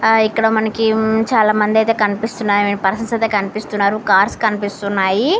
ఆ ఇక్కడ మనకి అయితే చాలామంది కనిపిస్తున్నారు పర్సన్స్ కనిపిస్తున్నారు.